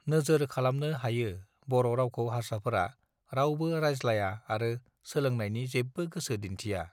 नोजोर खालामनो हायो बर रावखौ हार्साफोरा रावबो रायज्लाया आरो सोलोंनायनि जेबो गोसो दिऩ्थिया